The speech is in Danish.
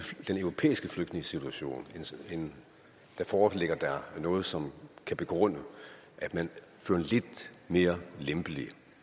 den europæiske flygtningesituation foreligger noget som kan begrunde at man fører en lidt mere lempelig